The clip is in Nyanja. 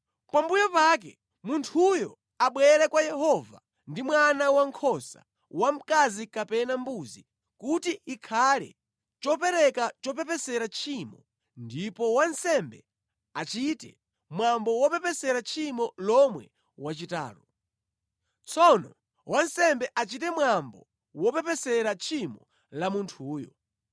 Pambuyo pake, munthuyo abwere kwa Yehova ndi mwana wankhosa wamkazi kapena mbuzi kuti ikhale chopereka chopepesera tchimo ndipo wansembe achite mwambo wopepesera tchimo lomwe wachitalo. Tsono wansembe achite mwambo wopepesera tchimo la munthuyo.